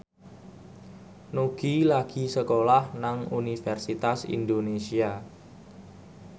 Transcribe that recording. Nugie lagi sekolah nang Universitas Indonesia